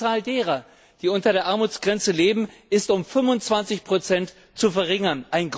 Die Zahl derer, die unter der Armutsgrenze leben, ist um 25 zu verringern.